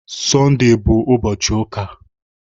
Sọndee bụ ụbọchị ụka